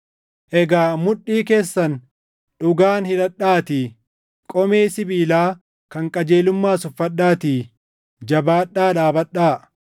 Egaa mudhii keessan dhugaan hidhadhaatii, qomee sibiilaa kan qajeelummaas uffadhaatii jabaadhaa dhaabadhaa;